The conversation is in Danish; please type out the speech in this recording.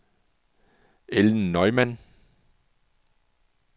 Ellen Neumann